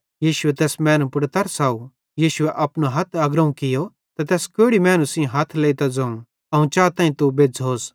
यीशुए तैस मैनू पुड़ तरस खाव तैनी अपनो हथ अग्रोवं कियो त तैस कोढ़ी मैनू सेइं हथ लेइतां ज़ोवं अवं चाताईं तू बज़्झ़ोस